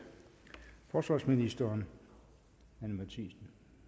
forsvarsministeren det